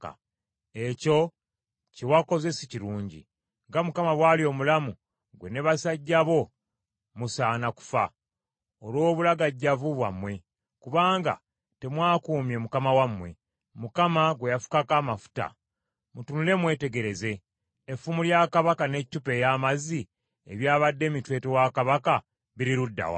Ekyo kye wakoze si kirungi. Nga Mukama bw’ali omulamu, ggwe n’abasajja bo musaana kufa, olw’obulagajjavu bwammwe, kubanga temwakuumye mukama wammwe, Mukama gwe yafukako amafuta. Mutunule mwetegereze; effumu lya kabaka n’eccupa ey’amazzi ebyabadde emitwetwe wa kabaka biri ludda wa?”